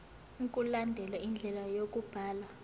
mkulandelwe indlela yokubhalwa